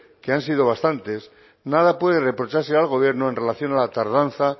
que han sido bastantes nada puede reprocharse al gobierno en relación a la tardanza